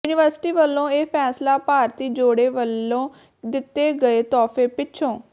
university ਵੱਲੋਂ ਇਹ ਫ਼ੈਸਲਾ ਭਾਰਤੀ ਜੋੜੇ ਵੱਲੋਂ ਦਿੱਤੇ ਗਏ ਤੋਹਫ਼ੇ ਪਿੱਛੋਂ